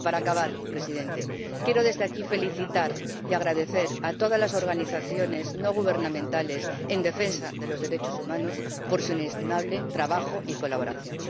Y para acabar, Presidente, quiero desde aquí felicitar y dar las gracias a todas las organizaciones no gubernamentales de defensa de los derechos humanos por su inestimable trabajo y colaboración.